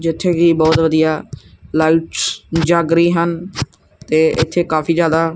ਜਿੱਥੇ ਕੀ ਬੋਹੁਤ ਵਧੀਆ ਲਾਈਟਸ ਵੀ ਜੱਗ ਰਹੀ ਹਨ ਤੇ ਇੱਥੇ ਕਾਫੀ ਜਿਆਦਾ--